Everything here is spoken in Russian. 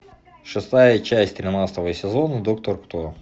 шестая часть тринадцатого сезона доктор кто